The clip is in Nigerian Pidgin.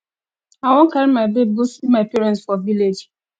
i wan carry my babe go see my parents for village